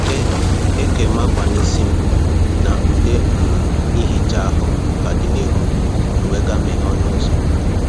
E E kèm akwa n’isi m, na ude um ihicha ahụ ka dị n’ihu m, m wee gaa meghee ọnụ ụzọ